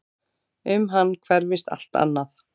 Um hann hverfist allt annað.